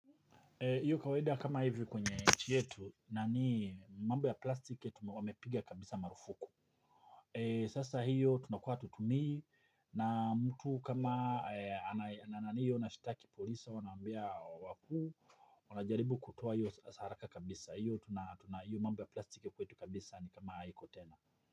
Iyo kawaida kama hivyo kwenye nchi yetu na ni mambo ya plastiki wamepiga kabisa marufuku. Sasa hiyo tunakuwa hatutumii na mtu kama anayo nashtaki polisi au naambia wakuu wanajaribu kutoa hiyo hasara haraka kabisa hiyo mambo ya plastiki kwetu kabisa ni kama haiko tena.